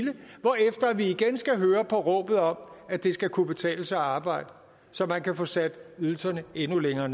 igen skal høre på råbet om at det skal kunne betale sig at arbejde så man kan få sat ydelserne endnu længere